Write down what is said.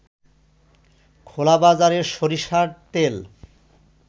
খোলাবাজারে সরিষার তেল